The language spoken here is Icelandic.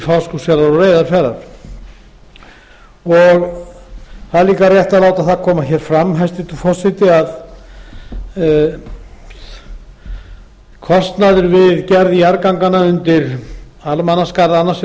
fáskrúðsfjarðar og reyðarfjarðar það er líka rétt að láta það koma hér fram hæstvirtur forseti að kostnaður við gerð jarðganganna undir almannaskarð annars